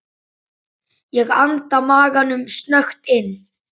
Ég anda maganum snöggt inn.